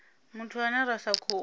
muthu ane ra sa khou